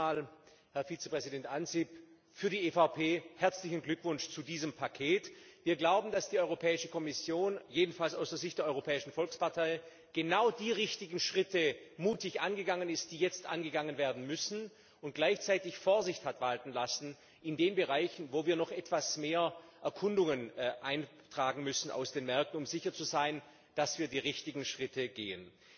Zunächst einmal, Herr Vizepräsident Ansip, im Namen der EVP herzlichen Glückwunsch zu diesem Paket! Wir glauben, dass die Europäische Kommission jedenfalls aus der Sicht der Europäischen Volkspartei genau die richtigen Schritte mutig angegangen ist, die jetzt angegangen werden müssen, und gleichzeitig Vorsicht hat walten lassen in den Bereichen, wo wir noch etwas mehr Erkundungen aus den Märkten einholen müssen, um sicher zu sein, dass wir die richtigen Schritte gehen.